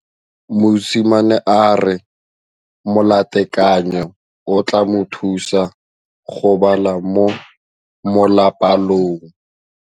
Mosimane a re molatekanyô o tla mo thusa go bala mo molapalong.